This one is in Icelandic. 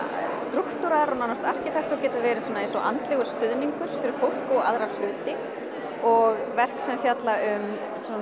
strúktúrar og nánast arkitektúr geta verið svona eins og andlegur stuðningur fyrir fólk og aðra hluti og verk sem fjalla um svona